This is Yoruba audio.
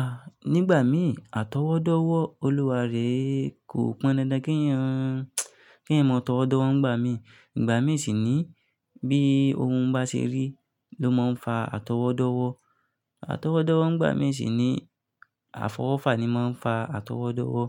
Ah, nígbà mí àtọwọ́dọ́wọ́ Olúwarè kò pọn dandan kí ń mọ tọwọ́dọ́wọ́ ń gbà mí. Ìgbà mí sì ní bí ohun bá ṣe rí ló máa ń fa àtọwọ́dọ́wọ́. Àtọwọ́dọ́wọ́ ń gbà mí sì ní àfọwọ́fà ni máa ń fa àtọwọ́dọ́wọ́.